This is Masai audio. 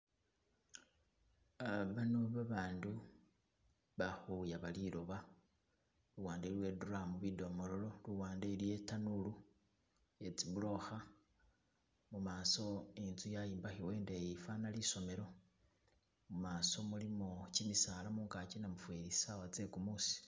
Ah bano babandu balikhuyaba liloba luwande iliwo e drum bidomololo luwande iliyo itanulu iye tsi bulokha , mumaso inzu yayimbakhibwa indeyi fana isomelo mumaso mulimo kimisala mungaki namufeli sawa tse kumusi